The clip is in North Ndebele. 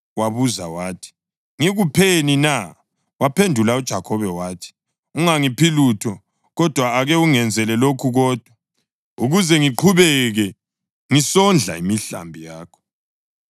Wabuza wathi, “Ngikupheni na?” Waphendula uJakhobe wathi, “Ungangiphi lutho. Kodwa ake ungenzele lokhu kodwa, ukuze ngiqhubeke ngisondla imihlambi yakho: